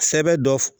Sɛbɛ dɔ f